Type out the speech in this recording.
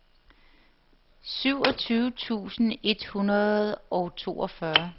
syvogtyve tusind et hundrede og toogfyrre